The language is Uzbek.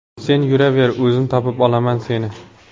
Sen yuraver, o‘zim topib olaman seni.